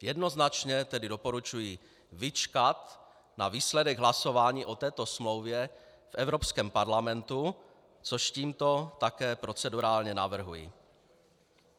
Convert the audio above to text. Jednoznačně tedy doporučuji vyčkat na výsledek hlasování o této smlouvě v Evropském parlamentu, což tímto také procedurálně navrhuji.